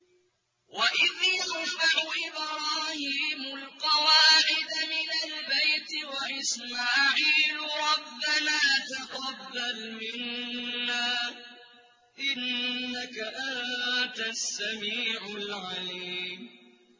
وَإِذْ يَرْفَعُ إِبْرَاهِيمُ الْقَوَاعِدَ مِنَ الْبَيْتِ وَإِسْمَاعِيلُ رَبَّنَا تَقَبَّلْ مِنَّا ۖ إِنَّكَ أَنتَ السَّمِيعُ الْعَلِيمُ